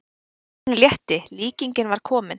Skáldinu létti, líkingin var komin.